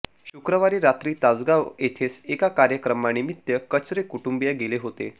शुक्रवारी रात्री तासगाव येथेच एका कार्यक्रमानिमित्त कचरे कुटुंबीय गेले होते